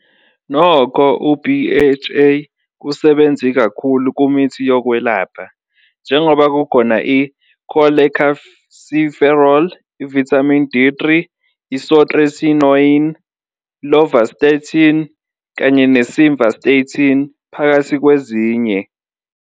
Nokho, u-BHA kusebenzi kakhulu kumithi yokwelapha, njengoba kukhona i-cholecalciferol, i-Vitamin D3, isotretinoin, lovastatin, kanye ne-simvastatin, phakathi kwezinye.